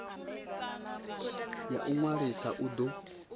ya u ṅwalisa u do